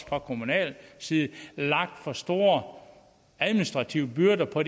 fra kommunal side har lagt for store administrative byrder på